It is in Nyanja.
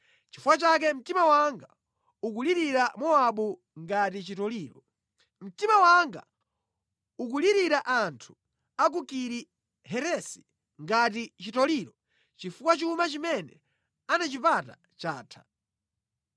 “Nʼchifukwa chake mtima wanga ukulirira Mowabu ngati chitoliro. Mtima wanga ukulirira anthu a ku Kiri Heresi ngati chitoliro chifukwa chuma chimene anachipata chatha.